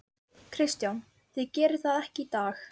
Kristján: Þið gerið það ekki í dag?